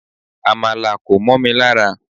Amala ko momi lara